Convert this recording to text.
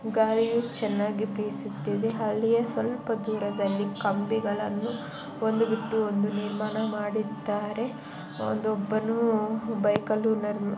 ಗಾಳಿಯು ಚೆನ್ನಾಗಿ ಬೀಸುತ್ತಿದ್ದೆ ಅಲ್ಲಿಯೇ ಸ್ವಲ್ಪ ದೂರದಲ್ಲಿ ಕಂಬಿಗಳನ್ನು ಒಂದು ಬಿಟ್ಟು ಒಂದ ನಿರ್ಮಾಣ ಮಾಡಿದ್ದಾರೆ. ಒಂದು ಒಬ್ಬನು ಬೈಕ್ ಅಲು --